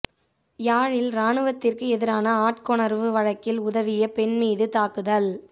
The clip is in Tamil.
யாழில் இராணுவத்திற்கு எதிரான ஆட்கொணர்வு வழக்கில் உதவிய பெண் மீது தாக்குதல்